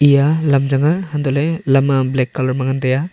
eya lam changnga hantoh ley lam a black colour ma ngan tai a.